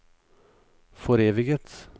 foreviget